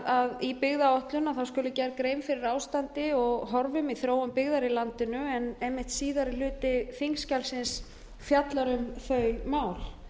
að í byggðaáætlun skuli gerð grein fyrir ástandi og horfum í þróun byggðar í landinu en einmitt síðari hluti þingskjalsins fjallar um þau mál